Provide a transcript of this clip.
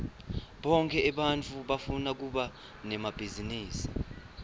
bonkhe ebantfu bafuna kuba nemabhizinisi